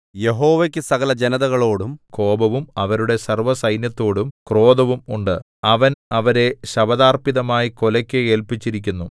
യഹോവയ്ക്കു സകലജനതകളോടും കോപവും അവരുടെ സർവ്വസൈന്യത്തോടും ക്രോധവും ഉണ്ട് അവൻ അവരെ ശപഥാർപ്പിതമായി കൊലയ്ക്ക് ഏല്പിച്ചിരിക്കുന്നു